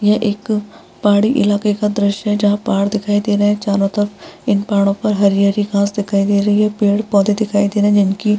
यह एक पहाड़ी इलाके का दृश्य है जहाँ पहाड़ दिखाई दे रहे हैं चारों तरफ इन पहाड़ों पर हरी-हरी घास दिखाई दे रही है पेड़-पौधे दिखाई दे रहे हैं जिनकी --